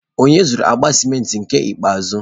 Onye zụru akpa cimenti nke ikpeazụ?